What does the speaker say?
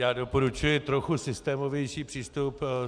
Já doporučuji trochu systémovější přístup.